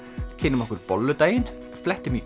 kynnum okkur bolludaginn flettum í